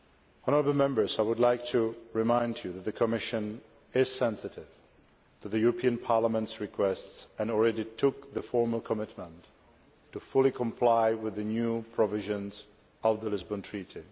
Honourable Members, I would like to remind you that the Commission is sensitive to the European Parliament's requests and has already made the formal commitment to fully comply with the new provisions of the Lisbon Treaty.